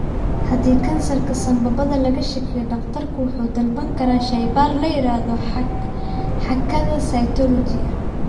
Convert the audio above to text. Haddii kansarka sanbabada laga shakiyo, dhakhtarku wuxuu dalban karaa shaybaar la yiraahdo xaakada cytology.